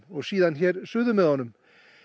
og síðan hér suður með honum